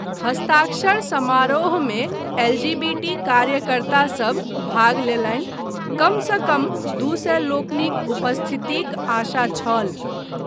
हस्ताक्षर समारोहमे एलजीबीटी कार्यकर्तासभ भाग लेलनि, कमसँ कम दू सए लोकनिक उपस्थितिक आशा छल।